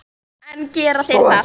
En gera þeir það?